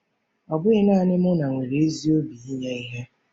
Ọ bụghị naanị Muna nwere ezi obi n'inye ihe.